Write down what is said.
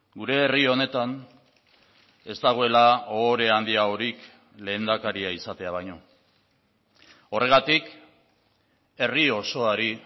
gure herri honetan ez dagoela ohore handiagorik lehendakaria izatea baino horregatik herri osoari